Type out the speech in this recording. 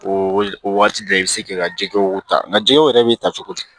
O o waati bɛɛ i bɛ se k'i ka jɛgɛw ta nka jɛgɛw yɛrɛ bɛ ta cogo di